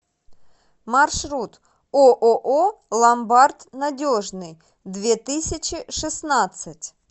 маршрут ооо ломбард надежный две тысячи шестнадцать